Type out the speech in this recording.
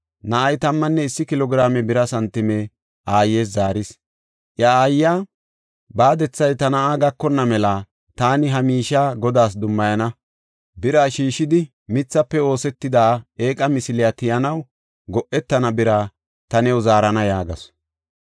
Na7ay tammanne issi kilo giraame bira santime aayes zaaris. Iya aayiya, “Baadethay ta na7aa gakonna mela taani ha miishiya Godaas dummayana. Biraa sheeshidi, mithafe oosetida eeqa misiliya tiyanaw go7etana; bira ta new zaarana” yaagasu.